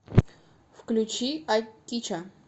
включи акича